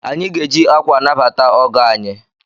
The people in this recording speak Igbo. Anyị ga-eji akwa anabata ọgọ anyị.